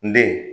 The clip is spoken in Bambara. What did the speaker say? N den